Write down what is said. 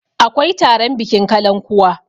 akwai taron bikin kalan kuwa